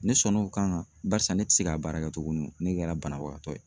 Ne sɔnn'o kan kan barisa ne tɛ se k'a baara kɛ tuguni ne kɛra banabagatɔ ye